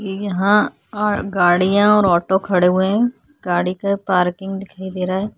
यहाँ गाडियां और ऑटो खड़े हुए हैं गाड़ी का पार्किंग दिखाई दे रहा है।